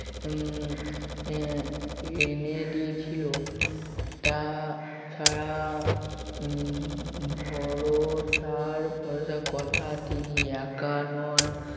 উম আহ এনে দিয়েছিল তাছাড়া উম ভরসার ভরসা কথা তিনি একা নন